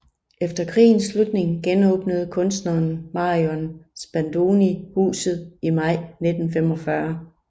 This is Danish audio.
Efter krigens slutning genåbnede kunstneren Marion Spadoni huset i maj 1945